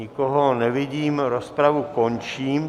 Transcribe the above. Nikoho nevidím, rozpravu končím.